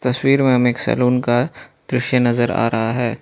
तस्वीर में हमें एक सैलून का दृश्य नजर आ रहा है।